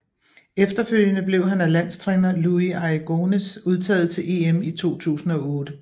Efterfølgende blev han af landstræner Luis Aragonés udtaget til EM i 2008